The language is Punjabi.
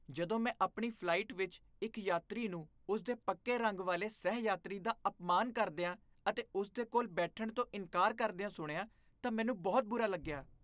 ਜਦੋਂ ਮੈਂ ਆਪਣੀ ਫ਼ਲਾਈਟ ਵਿੱਚ ਇੱਕ ਯਾਤਰੀ ਨੂੰ ਉਸ ਦੇ ਪੱਕੇ ਰੰਗ ਵਾਲੇ ਸਹਿ ਯਾਤਰੀ ਦਾ ਅਪਮਾਨ ਕਰਦੀਆਂ ਅਤੇ ਉਸ ਦੇ ਕੋਲ ਬੈਠਣ ਤੋਂ ਇਨਕਾਰ ਕਰਦਿਆ ਸੁਣਿਆ ਤਾਂ ਮੈਨੂੰ ਬਹੁਤ ਬੁਰਾ ਲੱਗਿਆ